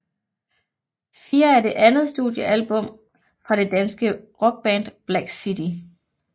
Fire er det andet studiealbum fra det danske rockband Black City